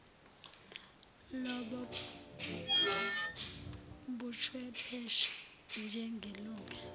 lobo buchwepheshe njengelunga